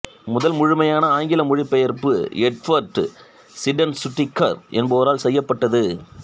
முதல் முழுமையான ஆங்கில மொழிபெயர்ப்பு எட்வார்ட் சீடென்சுட்டிக்கர் என்பவரால் செய்யப்பட்டது